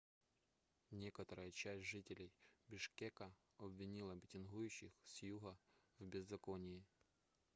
некоторая часть жителей бишкека обвинила митингующих с юга в беззаконии